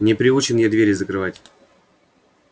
не приучен я двери закрывать